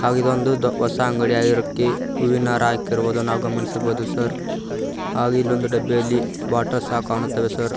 ಹಾಗೂ ಇದೊಂದು ದೋ ಹೊಸ ಅಂಗಡಿಯಾಗಿರುಕ್ಕೆ ಹೂವಿನ ಹಾರ ಹಾಕಿರುವುದು ನಾವು ಗಮನಿಸಬಹುದು ಸರ್ ಹಾಗೂ ಇಲ್ಲಿ ಒಂದು ಡಬ್ಬಿಯಲ್ಲಿ ಬಾಟಲ್ ಸಹ ಕಾಣುತ್ತವೆ ಸರ್ .